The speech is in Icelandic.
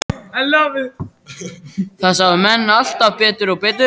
Það sáu menn alltaf betur og betur.